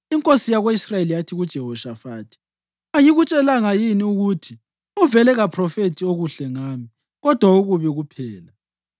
Inkosi yako-Israyeli yathi kuJehoshafathi, “Angikutshelanga yini ukuthi uvele kaphrofethi okuhle ngami, kodwa okubi kuphela?”